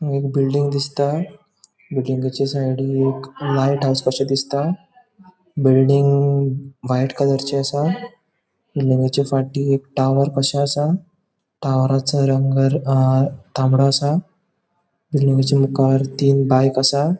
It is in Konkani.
हांगा एक बिल्डिंग दिसता बिल्डिंगचे साइडिक एक लाइट असाशे दिसता बिल्डिंग व्हाइट कलरचे असा बिल्डिंगचा फाटी एक टॉवर कशे असा टॉवरसो रंग तामड़ों असा बिल्डिंगचा मुकार तीन बाइक असा.